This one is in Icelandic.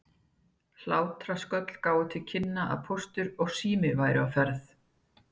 Hlátrasköll gáfu til kynna að Póstur og Sími væru á ferð.